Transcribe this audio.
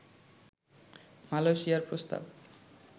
মালয়েশিয়ার প্রস্তাব